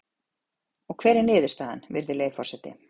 Og hver er niðurstaðan, virðulegi forseti?